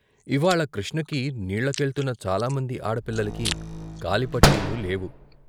ఇవ్వాళ కృష్ణకి నీళ్ళకెళ్తున్న చాలామంది ఆడపిల్లలకి కాలి పట్టీలు లేవు.